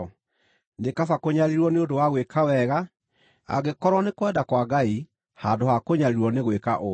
Nĩ kaba kũnyariirwo nĩ ũndũ wa gwĩka wega, angĩkorwo nĩ kwenda kwa Ngai, handũ ha kũnyariirwo nĩ gwĩka ũũru.